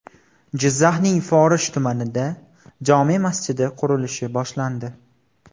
Jizzaxning Forish tumanida jome masjidi qurilishi boshlandi.